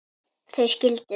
Þau skildu.